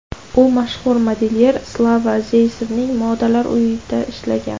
U mashhur modelyer Slava Zaysevning modalar uyida ishlagan.